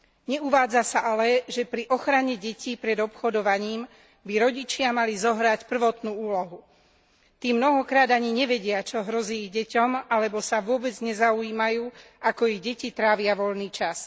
Neuvádza sa ale, že pri ochrane detí pred obchodovaním by rodičia mali zohrať prvotnú úlohu. Tí mnohokrát ani nevedia, čo hrozí ich deťom, alebo sa vôbec nezaujímajú, ako ich deti trávia voľný čas.